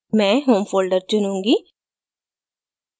मैं home folder चुनुंगी